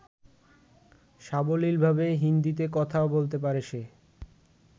সাবলীলভাবে হিন্দীতে কথাও বলতে পারে সে।